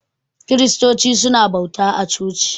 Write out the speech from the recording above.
Kiristoci su na bauta a coci